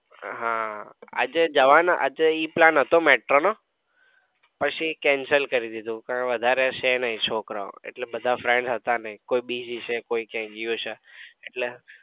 હા આજે જવાના આજે ઈ plan હતો. metro નો પછી cancel કરી દીધો કોઈ વધારે છે નઈ છોકરાઓ એટલે બધા friends હતા નઈ કોઈ busy છે કોઈ ક્યાક ગયા છે